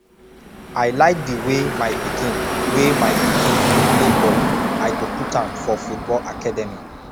i like di way my pikin way my pikin dey play ball i go put am for football academy